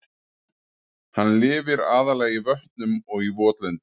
Hann lifir aðallega í vötnum og í votlendi.